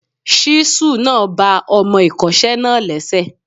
Ṣísù náà ba ọmọ ìkọ́ṣẹ́ náà lẹ́sẹ̀.